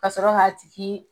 Ka sɔrɔ ka tigi